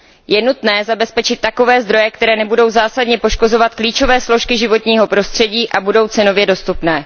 Je nutné zabezpečit takové zdroje, které nebudou zásadně poškozovat klíčové složky životního prostředí a budou cenově dostupné.